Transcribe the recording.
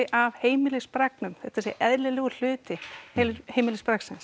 af þetta sé eðlilegur hluti